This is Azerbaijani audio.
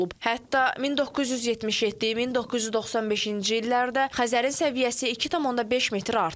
Hətta 1977, 1995-ci illərdə Xəzərin səviyyəsi 2,5 metr artıb.